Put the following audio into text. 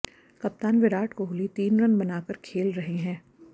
कप्तान विराट कोहली तीन रन बनाकर खेल रहे हैं